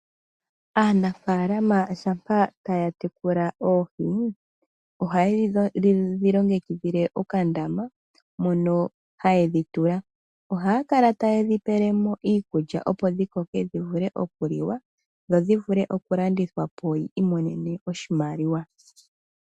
Aanafaalama shampa taya tekula oohi oha yedhi longekidhile okandama moka tayedhi tula, ohaya kala tayedhi pelemo iikulya opo dhikoke dhivule okuliwa dho dhivule okulandithwa po yiimonene oshimaliwa.